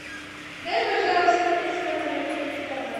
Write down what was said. дай пожалуйста мне свой номер телефона